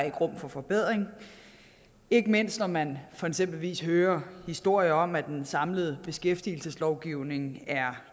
er rum for forbedring ikke mindst når man eksempelvis hører historier om at den samlede beskæftigelseslovgivning er